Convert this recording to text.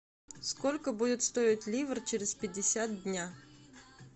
сколько будет стоить ливр через пятьдесят дня